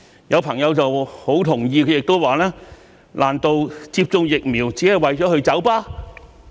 有朋友很同意，他亦說："難道接種疫苗只是為了去酒吧？